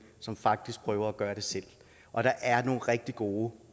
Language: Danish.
som faktisk prøver at gøre det selv og der er nogle rigtig gode